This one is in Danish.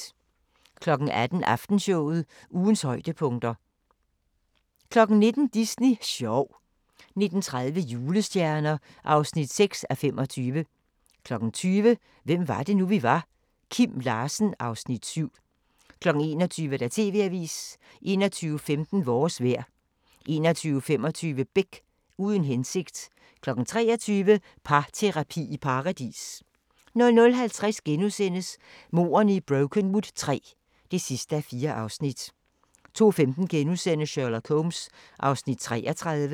18:00: Aftenshowet – ugens højdepunkter 19:00: Disney sjov 19:30: Julestjerner (6:25) 20:00: Hvem var det nu, vi var: Kim Larsen (Afs. 7) 21:00: TV-avisen 21:15: Vores vejr 21:25: Beck – Uden hensigt 23:00: Parterapi i Paradis 00:50: Mordene i Brokenwood III (4:4)* 02:15: Sherlock Holmes (33:45)*